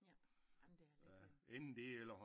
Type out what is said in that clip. Ja ah men det er lidt øh